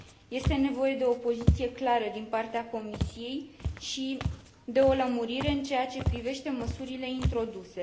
Este nevoie de o poziție clară din partea Comisiei și de o lămurire în ceea ce privește măsurile introduse.